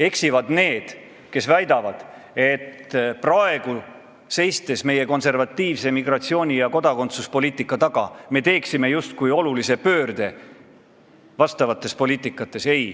Eksivad need, kes väidavad, et konservatiivse migratsiooni- ja kodakondsuspoliitika eest seismisega teeksime praegu justkui olulise pöörde vastavates poliitikates.